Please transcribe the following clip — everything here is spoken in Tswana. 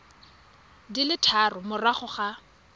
di le tharo morago ga